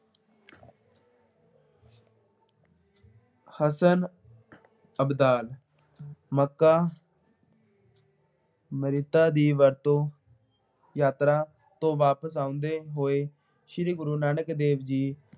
Hasan Abdal Mecca, Medina ਦੀ ਵਰਤੋਂ ਯਾਤਰਾ ਤੋਂ ਵਾਪਸ ਆਉਂਦੇ ਹੋਏ ਸ਼੍ਰੀ ਗੁਰੂ ਨਾਨਕ ਦੇਵ ਜੀ